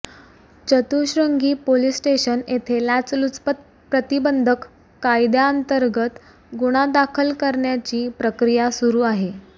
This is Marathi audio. चतुःश्रूंगी पोलीस स्टेशन येथे लाचलुचपत प्रतिबंधक कायद्याअंतर्गत गुन्हा दाखल करण्याची प्रक्रिया सुरू आहे